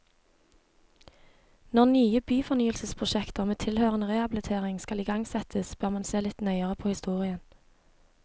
Når nye byfornyelsesprosjekter med tilhørende rehabilitering skal igangsettes, bør man se litt nøyere på historien.